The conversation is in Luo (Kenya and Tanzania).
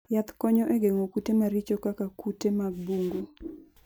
Yath konyo e geng'o kute maricho kaka kute mag bungu.